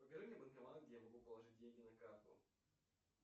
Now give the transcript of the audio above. покажи мне банкомат где я могу положить деньги на карту